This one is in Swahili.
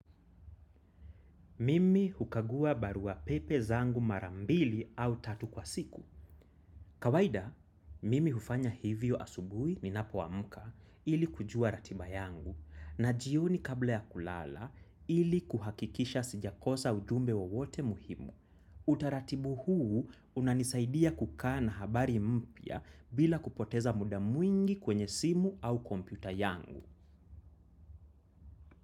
Mimi hukagua barua pepe zangu mara mbili au tatu kwa siku. Kawaida, mimi hufanya hivyo asubuhi ninapoamka ili kujua ratiba yangu na jioni kabla ya kulala ili kuhakikisha sijakosa ujumbe wowote muhimu. Utaratibu huu unanisaidia kukaa na habari mpya bila kupoteza muda mwingi kwenye simu au kompyuta yangu.